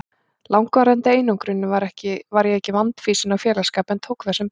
langvarandi einangruninni var ég ekki vandfýsin á félagsskap en tók það sem bauðst.